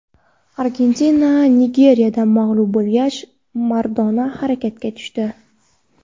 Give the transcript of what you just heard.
Argentina Nigeriyadan mag‘lub bo‘lgach, Maradona harakatga tushdi.